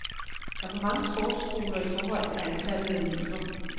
Der er for mange sportsskoler i forhold til antallet af elever.